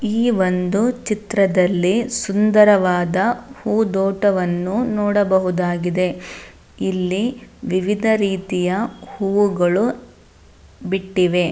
ಈ ಒಂದು ಚಿತ್ರದಲ್ಲಿ ಸುಂದರವಾದ ಹೂದೋಟವನ್ನು ನೋಡಬಹುದಾಗಿದೆ. ಇಲ್ಲಿ ವಿವಿಧ ರೀತಿಯ ಹೂಗಳು ಬಿಟ್ಟಿವೆ.